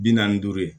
Bi naani ni duuru ye